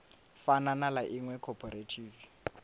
fana na ḽa iṅwe khophorethivi